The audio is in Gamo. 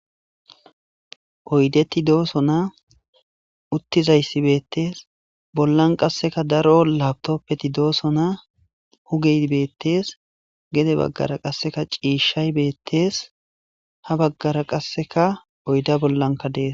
oydeti doosona uttizayssi beettees bollan qasseka daro laptoppeti doosona hugey beettees gede baggara qasseka ciishshay beettees ha baggara qasseka oyda bollanka dees